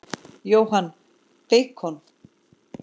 Jóhann: Beikon?